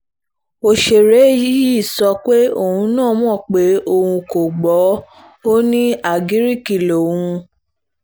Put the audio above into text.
òṣèré yìí sọ pé òun náà mọ̀ pé òun kò gbọ́ ọ ní àgíríìkì lòun